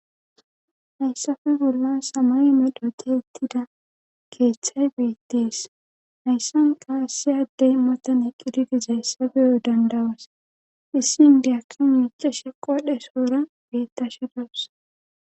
Hayssafe gulla samay medhoti ettida keeththay beettees hayssan qaassiyaddey motan eqqididizayssabeyo dandawas issin diakki muuca sheqowadhe soora beettashedawusa